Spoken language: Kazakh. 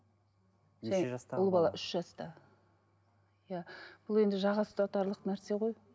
ұл бала үш жаста иә бұл енді жаға ұстатарлық нәрсе ғой